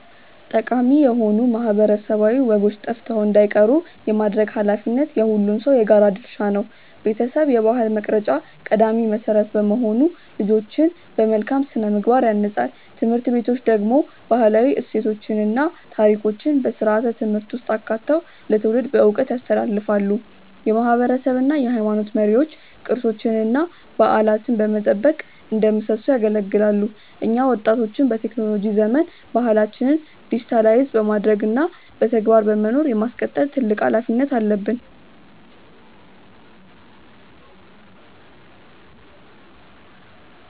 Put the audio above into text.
ጠቃሚ የሆኑ ማህበረሰባዊ ወጎች ጠፍተው እንዳይቀሩ የማድረግ ኃላፊነት የሁሉም ሰው የጋራ ድርሻ ነው። ቤተሰብ የባህል መቅረጫ ቀዳሚ መሰረት በመሆኑ ልጆችን በመልካም ስነ-ምግባር ያንጻል። ትምህርት ቤቶች ደግሞ ባህላዊ እሴቶችን እና ታሪኮችን በስርዓተ-ትምህርት ውስጥ አካተው ለትውልድ በዕውቀት ያስተላልፋሉ። የማህበረሰብ እና የሃይማኖት መሪዎች ቅርሶችንና በዓላትን በመጠበቅ እንደ ምሰሶ ያገለግላሉ። እኛ ወጣቶችም በቴክኖሎጂ ዘመን ባህላችንን ዲጂታይዝ በማድረግ እና በተግባር በመኖር የማስቀጠል ትልቅ ኃላፊነት አለብን።